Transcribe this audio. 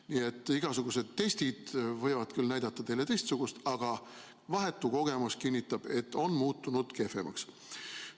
Nii et igasugused testid võivad küll näidata teile teistsuguseid andmeid, aga vahetu kogemus kinnitab, et tase on muutunud kehvemaks.